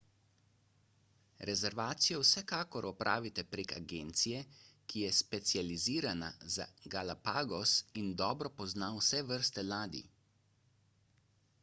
rezervacijo vsekakor opravite prek agencije ki je specializirana za galapagos in dobro pozna vse vrste ladij